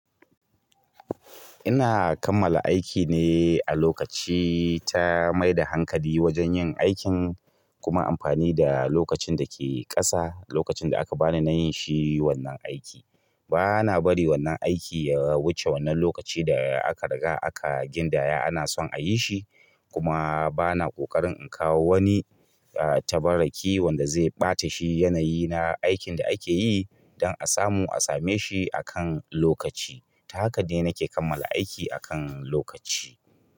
Ina kammala aiki ne a lokaci, ta mai da hankali wajen yin aikin kuma amfani da lokacin dake ƙasa lokacin da aka bani nayinshi wannan aiki bana bari wannan aiki ya wuce wannan lokaci da aka riga aka gindaya ana son a yi shi kuma bana ƙoƙarin in kawo wani tabbaraki wanda zai ɓata shi aikin da ake yi don a samu a same shi akan lokaci. Ta haka ne nake kammala aiki akan lokaci.